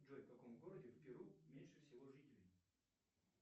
джой в каком городе в перу меньше всего жителей